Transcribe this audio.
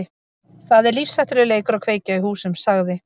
Það er lífshættulegur leikur að kveikja í húsum- sagði